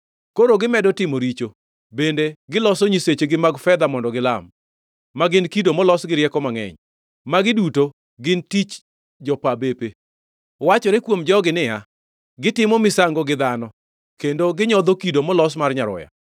Koro gimedo timo richo, bende giloso nyisechegi mag fedha mondo gilam, ma gin kido molos gi rieko mangʼeny, magi duto gin tich jopa bepe. Wachore kuom jogi niya, “Gitimo misango gi dhano, kendo ginyodho kido molos mar nyaroya.”